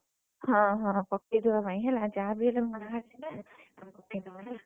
ହଁ ହଁ ପକେଇଦବା ପାଇଁ ହେଲା ଯାହାବି ହେଲେ ପକେଇଦବା ହେଲା।